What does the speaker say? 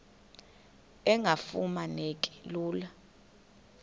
engafuma neki lula